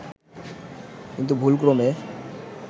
কিন্তু ভুলক্রমে